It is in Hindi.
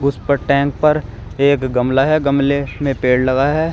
उस पर टैंक पर एक गमला है गमले में पेड़ लगा है।